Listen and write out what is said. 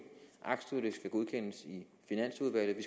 aktstykket skal godkendes i finansudvalget vi